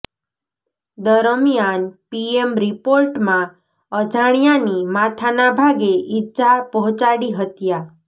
દરમિયાન પીએમ રિપોર્ટમાં અજાણ્યાની માથાના ભાગે ઇજા પહોચાડી હત્યા